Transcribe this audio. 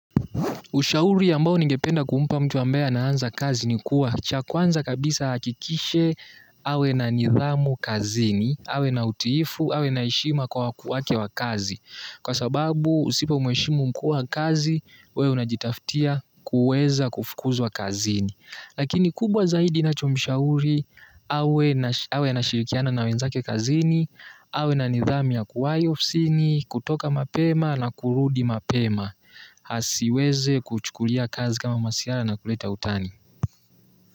Ushauri ambao ningependa kumpa mtu ambaye anaanza kazi ni kuwa, cha kwanza kabisa ahakikishe awe na nidhamu kazini, awe na utiifu, awe na heshima kwa wakuu wake wa kazi. Kwa sababu usipomheshimu mkuu wa kazi, wewe unajitafutia kuweza kufukuzwa kazini. Lakini kubwa zaidi ninachomshauri, awe anashirikiana na wenzake kazini, awe na nidhamu ya kuwai ofisini, kutoka mapema na kurudi mapema. Asiweze kuchukulia kazi kama masihara na kuleta utani.